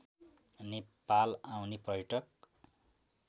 नेपाल आउने पर्यटक